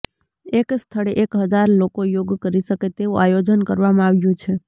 એક સ્થળે એક હજાર લોકો યોગ કરી શકે તેવું આયોજન કરવામાં આવ્યું છે